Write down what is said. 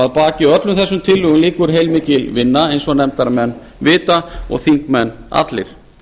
að baki öllum þessum tillögum liggur heilmikil vinna eins og nefndarmenn vita og allir